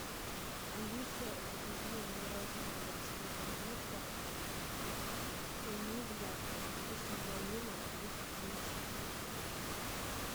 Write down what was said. алиса закажи мороженое в рожке корнетто энигма со вкусом малина весом семьдесят три грамма